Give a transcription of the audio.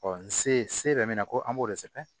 n se yɛrɛ min na ko an b'o de sɛbɛn